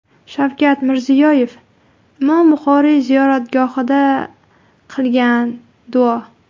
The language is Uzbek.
Shavkat Mirziyoyev Imom Buxoriy ziyoratgohida qilgan duo.